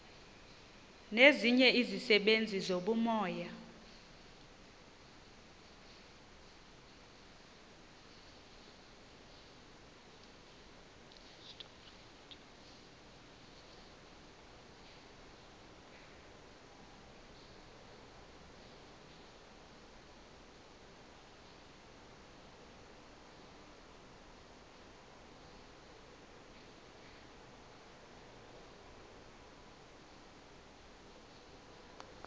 nezinye izisebenzi zobumoya